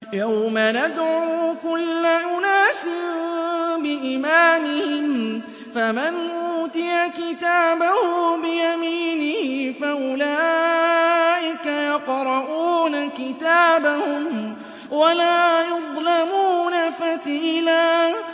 يَوْمَ نَدْعُو كُلَّ أُنَاسٍ بِإِمَامِهِمْ ۖ فَمَنْ أُوتِيَ كِتَابَهُ بِيَمِينِهِ فَأُولَٰئِكَ يَقْرَءُونَ كِتَابَهُمْ وَلَا يُظْلَمُونَ فَتِيلًا